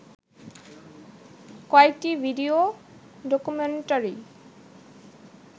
কয়েকটি video documentary